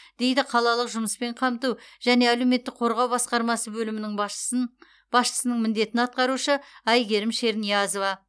дейді қалалық жұмыспен қамту және әлеуметтік қорғау басқармасы бөлімінің басшысының міндетін атқарушы әйгерім шерниязова